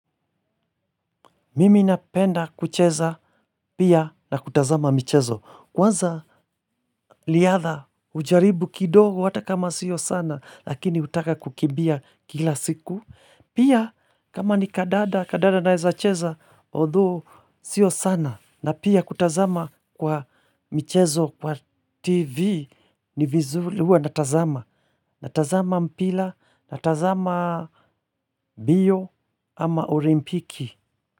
Mimi napenda kucheza pia na kutazama michezo. Kwanza riadha hujaribu kidogo hata kama sio sana lakini hutaka kukibia kila siku. Pia kama ni kadada, kadada naweza cheza, although sio sana. Na pia kutazama kwa mchezo, kwa TV, ni vizuri huwa na tazama. Na tazama mpira, na tazamam bio ama olimpiki.